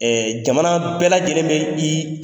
jamana bɛɛ lajɛlen bɛ i